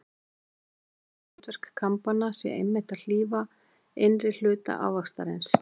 Reyndar má líta svo á að hlutverk kambanna sé einmitt að hlífa innri hluta ávaxtarins.